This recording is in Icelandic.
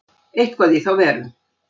Eitthvað í þá veru.